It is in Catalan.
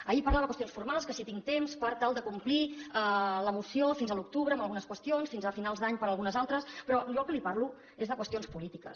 ahir parlava de qüestions formals que si tinc temps per tal de complir la moció fins a l’octubre amb algunes qüestions fins a finals d’any per algunes altres però jo del que li parlo és de qüestions polítiques